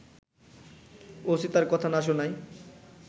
OC তার কথা না শোনায়